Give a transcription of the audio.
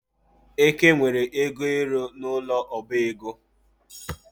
Eke nwere ego ero n'ụlọ ọbaego